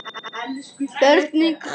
Þörfin knýr.